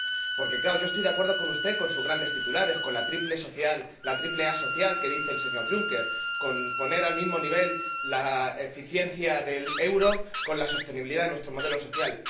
Porque, claro, yo estoy de acuerdo con usted, con sus grandes titulares, con la triple A social a la que se refiere el señor Juncker, con poner al mismo nivel la eficiencia del euro y la sostenibilidad de nuestro modelo social.